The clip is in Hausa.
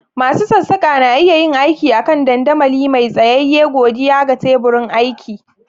Masu sassaƙa na iya yin aiki a kan dandamali mai tsayayye godiya ga teburin aiki.